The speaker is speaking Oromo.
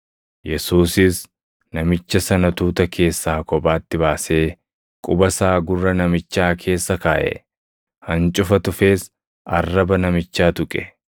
Yesuusis namicha sana tuuta keessaa kophaatti baasee quba isaa gurra namichaa keessa kaaʼe. Hancufa tufees arraba namichaa tuqe.